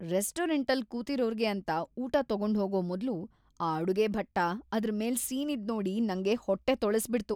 ರೆಸ್ಟೋರೆಂಟಲ್ ಕೂತಿರೋರ್ಗೆ ಅಂತ ಊಟ ತಗೊಂಡ್ಹೋಗೋ ಮೊದ್ಲು ಆ ಅಡುಗೆ ಭಟ್ಟ ಅದ್ರ್ ಮೇಲೆ ಸೀನಿದ್‌ ನೋಡಿ ನಂಗೆ ಹೊಟ್ಟೆ ತೊಳಸ್ಬಿಡ್ತು.